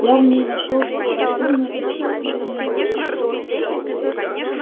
я в ней нашёл благоразумную и чувствительную девушку